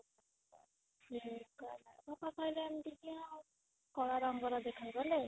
ସେ କହିଲେ ବାପା କହିଲେ ଏମିତିକି ଆଉ କଳା ରଙ୍ଗର ଦେଖାଗଲେ